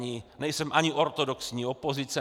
Nejsem ani ortodoxní opozice.